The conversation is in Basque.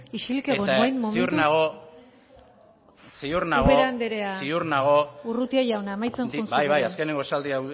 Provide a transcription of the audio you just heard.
isilik egon orain momentuz eta ziur nago urrutia jauna amaitzen joan zuk ere bai bai azkenengo esaldia